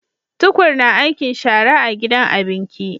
tukur na aikin shara a gidan abinki